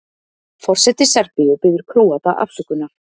Forseti Serbíu biður Króata afsökunar